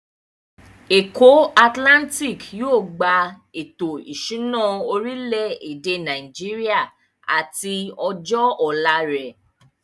Èkó atilántíkì yóò gba ètò ìṣúná orilẹ̀-èdè Nàìjíríà àti ọjọ́ ọ̀la rẹ̀.